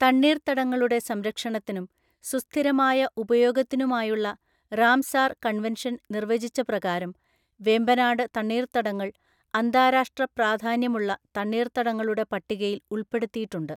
തണ്ണീർത്തടങ്ങളുടെ സംരക്ഷണത്തിനും സുസ്ഥിരമായ ഉപയോഗത്തിനുമായുള്ള റാംസാർ കൺവെൻഷൻ നിർവചിച്ച പ്രകാരം വെമ്പനാട് തണ്ണീർത്തടങ്ങൾ അന്താരാഷ്ട്ര പ്രാധാന്യമുള്ള തണ്ണീർത്തടങ്ങളുടെ പട്ടികയിൽ ഉൾപ്പെടുത്തിയിട്ടുണ്ട്.